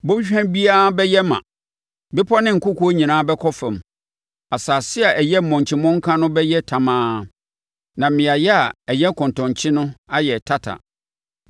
Bɔnhwa biara bɛyɛ ma, bepɔ ne nkokoɔ nyinaa bɛkɔ fam, asase a ɛyɛ monkyi mmɔnka no bɛyɛ tamaa, na mmeaɛ a ɛyɛ kɔntɔnkye no ayɛ tata.